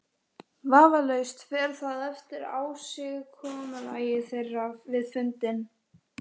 Vafalaust fer það eftir ásigkomulagi þeirra við fundinn.